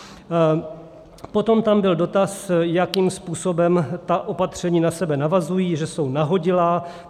Potom tam byl dotaz, jakým způsobem ta opatření na sebe navazují, že jsou nahodilá.